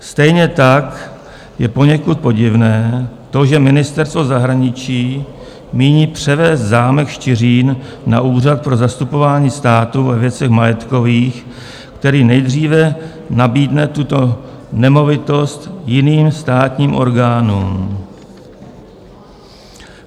Stejně tak je poněkud podivné to, že Ministerstvo zahraničí míní převést zámek Štiřín na Úřad pro zastupování státu ve věcech majetkových, který nejdříve nabídne tuto nemovitost jiným státním orgánům.